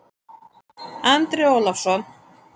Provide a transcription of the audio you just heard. Andri Ólafsson